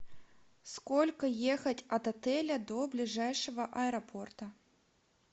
сколько ехать от отеля до ближайшего аэропорта